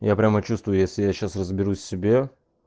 я прямо чувствую если я сейчас разберусь в себе